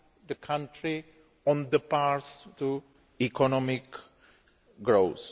the country on the path to economic growth.